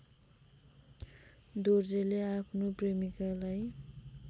दोर्जेले आफ्नो प्रेमिकालाई